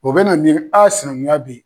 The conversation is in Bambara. O bɛ na nin a sinankunya bɛ yen